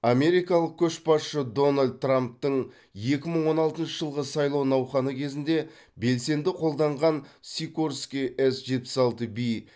америкалық көшбасшы дональд трамптың екі мың он алтыншы жылғы сайлау науқаны кезінде белсенді қолданған сикорский эс жетпіс алты би